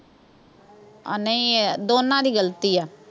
ਅਹ ਨਹੀਂ ਅਹ ਦੋਨਾਂ ਦੀ ਗਲਤੀ ਆ।